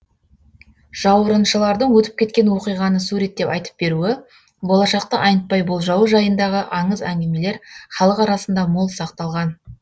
жауырыншылардың өтіп кеткен оқиғаны суреттеп айтып беруі болашақты айнытпай болжауы жайындағы аңыз әңгімелер халық арасында мол сақталған